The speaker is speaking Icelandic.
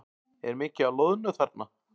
Er mikið af loðnu þarna?